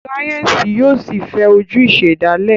Sáyẹnsì yóò sí fè ojú ìsèdálè.